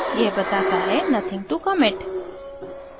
यह बताता है: nothing to commit